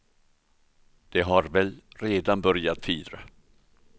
De har väl redan börjat fira.